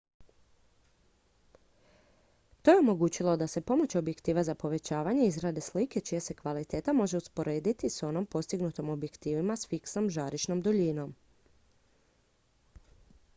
to je omogućilo da se pomoću objektiva za povećavanje izrade slike čija se kvaliteta može usporediti s onom postignutom objektivima s fiksnom žarišnom duljinom